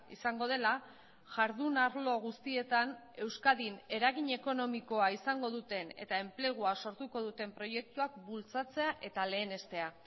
izango dela jardun arlo guztietan euskadin eragin ekonomikoa izango duten eta enplegua sortuko duten proiektuak bultzatzea eta lehenestea